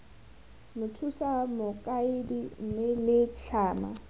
mothusa mokaedi mme la tlhama